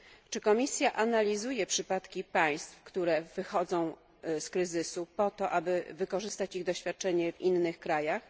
Czy Komisja analizuje przypadki państw, które wychodzą z kryzysu po to, aby wykorzystać ich doświadczenia w innych krajach?